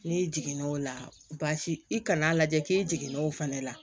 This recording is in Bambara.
N'i jigin n'o la baasi i kana lajɛ k'i jiginn'o fana la